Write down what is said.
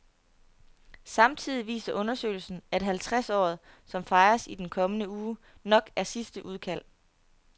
Samtidig viser undersøgelsen, at halvtredsåret som fejres i den kommende uge, nok er sidste udkald.